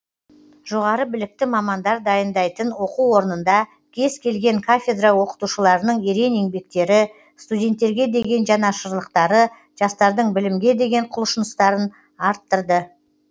жоғары білікті мамандар дайныдайтын оқу орнында кез келген кафедра оқытушыларының ерен еңбектері студенттерге деген жанашырлықтары жастардың білімге деген құлшыныстарын арттырды